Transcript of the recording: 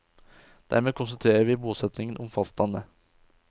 Dermed konsentrerer vi bosetningen om fastlandet.